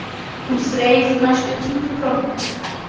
Hún þreif næsta títuprjón.